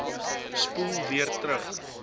spoel weer terug